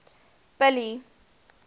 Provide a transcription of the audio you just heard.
billy